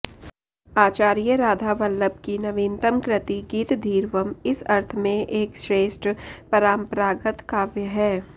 आचार्य राधावल्लभ की नवीनतम् कृति गीतधीरवम् इस अर्थ में एक श्रेष्ठ पराम्परागत काव्य है